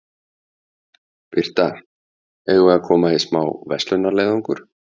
Birta: Eigum við að koma í smá verslunarleiðangur?